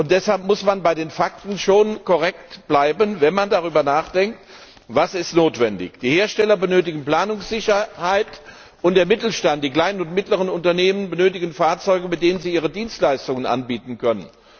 Deshalb muss man bei den Fakten schon korrekt bleiben, wenn man darüber nachdenkt, was notwendig ist. Die Hersteller benötigen Planungssicherheit, und der Mittelstand, die kleinen und mittleren Unternehmen, benötigen Fahrzeuge, mit denen sie ihre Dienstleistungen anbieten können.